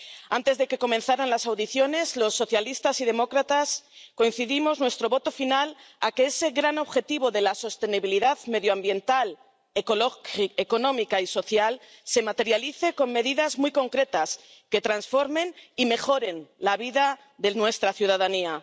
Antes de que comenzaran las audiencias, los socialistas y demócratas dimos nuestro voto final a que ese gran objetivo de la sostenibilidad medioambiental, económica y social se materialice con medidas muy concretas que transformen y mejoren la vida de nuestra ciudadanía.